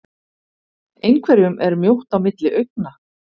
Einhverjum er mjótt á milli augna